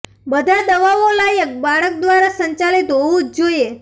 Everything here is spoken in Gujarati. બધા દવાઓ લાયક બાળક દ્વારા સંચાલિત હોવું જ જોઈએ